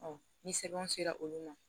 ni sɛbɛnw sera olu ma